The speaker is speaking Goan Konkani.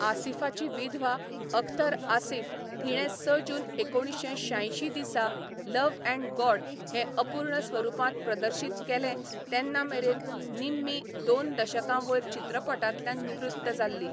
आसिफाची विधवा अख्तर आसिफ हिणें स जून एकोणिशे शांयशीं दिसा लव्ह अँड गॉड हें अपूर्ण स्वरुपांत प्रदर्शीत केलें तेन्ना मेरेन निम्मी दोन दशकां वयर चित्रपटांतल्यान निवृत्त जाल्ली.